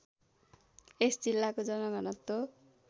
यस जिल्लाको जनघनत्व